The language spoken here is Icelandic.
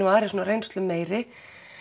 og aðrir svona reynslumeiri